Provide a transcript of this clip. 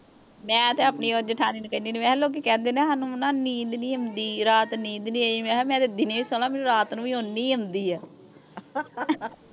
ਮੈਂ ਤੇ ਆਪਣੀ ਓਹ ਜਿਠਾਣੀ ਨੂੰ ਕਹਿੰਦੀ ਹੁਨੀ ਆ ਮੈਂ ਕਿਹਾ ਲੋਕੀਂ ਕਹਿੰਦੇ ਨਾ ਸਾਨੂੰ ਨੀਂਦ ਨਹੀਂ ਆਉਂਦੀ ਰਾਤ ਨੀਂਦ ਨਹੀਂ ਆਈ ਮੈਂ ਤੇ ਦਿਨੇ ਸੋ ਲਵਾਂ ਮੈਨੂੰ ਰਾਤ ਨੂੰ ਵੀ ਓਨੀ ਹੀ ਆਉਂਦੀ ਆ